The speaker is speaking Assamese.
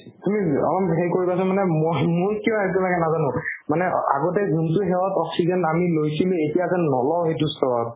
তুমি উম অলপ সেই কৰিবাচোন মানে মই মোৰ কিয় এইটো লাগে নাজানো মানে আগতে যোনতো সেইহত oxygen আমি লৈছিলো এতিয়া যেন নলও সেইটো স্তৰত